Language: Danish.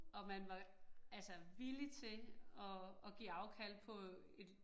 Og man var altså villig til at at give afkald på et